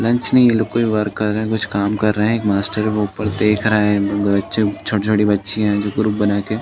Lunch नहीं ये कोई वर्क कर रहे हैं कुछ काम कर रहे हैं। एक मास्टर है वो ऊपर देख रहा है। छोटी-छोटी बच्चियाँ हैं जो ग्रुप बनाके --